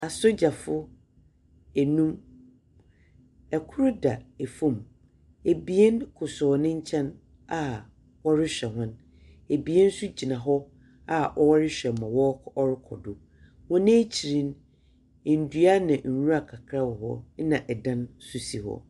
Asogyafo enum, kor da famu. Ebien kosow ne nkyɛn a wɔrehwɛ hɔn. Ɛbien nso gyina hɔ a wɔrehwɛ ma wɔɔkɔ ɔrokɔdo. Wɔ n'ekyir no, ndua na nwura kakra wɔ hɔ, ɛna dan nso si hɔ.